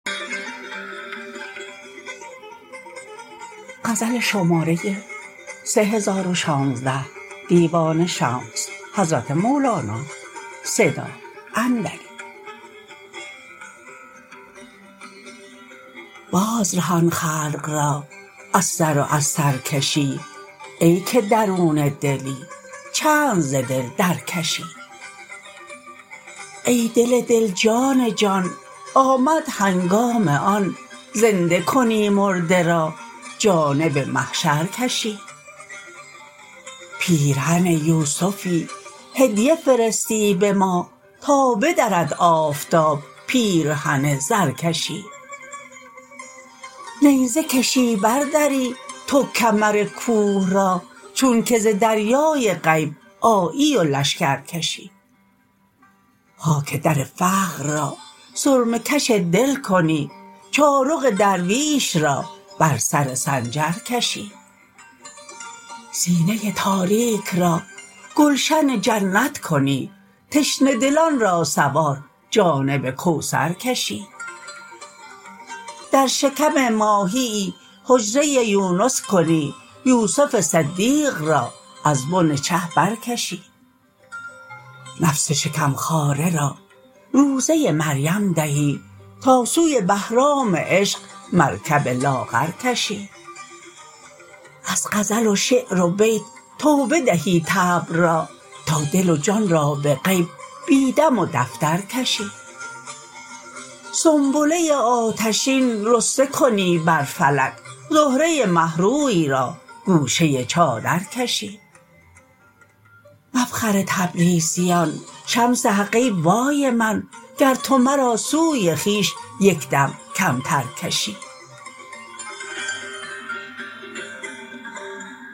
بازرهان خلق را از سر و از سرکشی ای که درون دلی چند ز دل درکشی ای دل دل جان جان آمد هنگام آن زنده کنی مرده را جانب محشر کشی پیرهن یوسفی هدیه فرستی به ما تا بدرد آفتاب پیرهن زرکشی نیزه کشی بردری تو کمر کوه را چونک ز دریای غیب آیی و لشکر کشی خاک در فقر را سرمه کش دل کنی چارق درویش را بر سر سنجر کشی سینه تاریک را گلشن جنت کنی تشنه دلان را سوار جانب کوثر کشی در شکم ماهیی حجره یونس کنی یوسف صدیق را از بن چه برکشی نفس شکم خواره را روزه مریم دهی تا سوی بهرام عشق مرکب لاغر کشی از غزل و شعر و بیت توبه دهی طبع را تا دل و جان را به غیب بی دم و دفتر کشی سنبله آتشین رسته کنی بر فلک زهره مه روی را گوشه چادر کشی مفخر تبریزیان شمس حق ای وای من گر تو مرا سوی خویش یک دم کمتر کشی